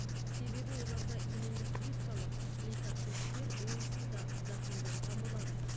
себебі оларда иммундық клеткалар лейкоциттер онсыз да зақымданған болады